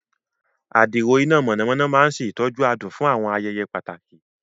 Adiro iná mọ̀nàmọ́ná máa ń ṣe ìtọ́jú adùn fún àwọn ayẹyẹ pàtàkì.